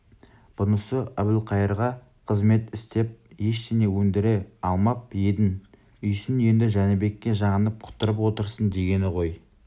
бұнысы әбілқайырға қызмет істеп ештеңе өндіре алмап едің үйсін енді жәнібекке жағынып құтырып отырсың дегені ғой